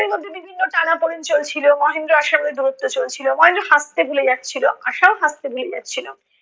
বিভিন্ন টানাপোড়েন চলছিলো, মহেন্দ্র আশার মধ্যে দূরত্ব চলছিলো। মহেন্দ্র হাসতে ভুলে যাচ্ছিলো, আশাও হাসতে ভুলে যাচ্ছিলো।